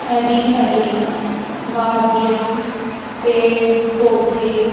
हरी हरी वादियां पेड़ पौधे--